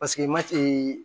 Paseke mati